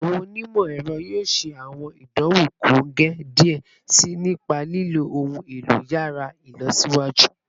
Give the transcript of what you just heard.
Awọn onimọ-ẹrọ yoo ṣe awọn idanwo kongẹ diẹ sii nipa lilo ohun elo yàrá ilọsiwaju